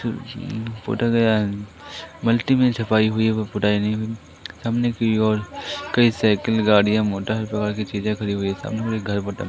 सामने की ओर कई साइकिल गाड़ियां मोटर इस प्रकार की चीजें खड़ी हुई सामने एक घर